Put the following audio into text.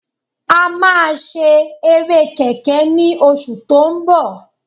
A máa ṣe eré kẹ̀kẹ́ ní oṣù tó ń bọ̀